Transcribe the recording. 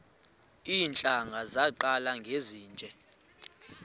iintlanga zaqala ngezinje